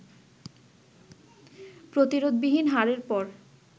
প্রতিরোধবিহীন হারের পর